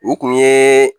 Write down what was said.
U kun ye